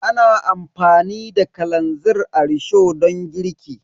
Ana amfani da kalanzir a risho don girki.